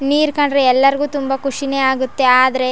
ನೀರ್ ಕಂಡ್ರೆ ಎಲ್ಲರಿಗು ತುಂಬಾ ಖುಷಿನೇ ಆಗುತ್ತೆ ಆದರೆ --